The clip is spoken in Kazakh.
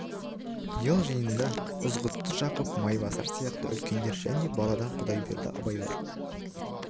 бұл жиында ызғұтты жақып майбасар сияқты үлкендер және баладан құдайберді абай бар